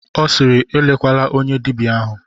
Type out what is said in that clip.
Ọ sịịrị, elekwala onye dibịa ahụ!